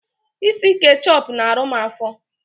Ịsị ketchup na arụ m afo